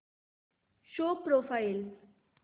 show profile